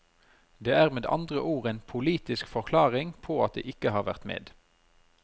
Det er med andre ord en politisk forklaring på at de ikke har vært med.